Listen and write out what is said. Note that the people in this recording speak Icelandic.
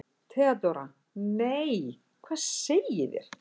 THEODÓRA: Nei, hvað segið þér?